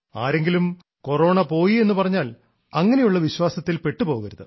ആരെങ്കിലും കൊറോണ പോയി എന്നുപറഞ്ഞാൽ അങ്ങനെയുള്ള വിശ്വാസത്തിൽ പെട്ടുപോകരുത്